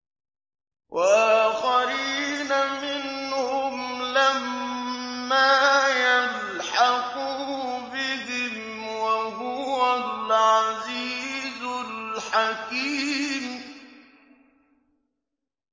وَآخَرِينَ مِنْهُمْ لَمَّا يَلْحَقُوا بِهِمْ ۚ وَهُوَ الْعَزِيزُ الْحَكِيمُ